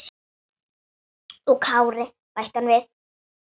Og Kári, bætti hann við.